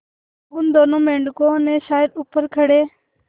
उन दोनों मेढकों ने शायद ऊपर खड़े